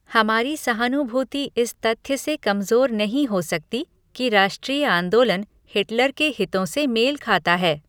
हमारी सहानुभूति इस तथ्य से कमजोर नहीं हो सकती कि राष्ट्रीय आंदोलन हिटलर के हितों से मेल खाता है।